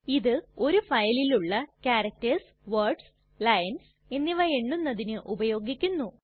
ഇത് ഒരു ഫയലിലുള്ള ക്യാരക്ടർസ് വേർഡ്സ് ലൈൻസ് എന്നിവ എണ്ണുന്നതിന് ഉപയോഗിക്കുന്നു